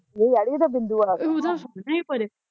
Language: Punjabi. ਨਹੀਂ ਅੜੀਏ ਉਦਾ ਬਿੰਦੂ ਆਲਾ ਸੋਹਣਾ ਐ